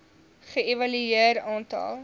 ge evalueer aantal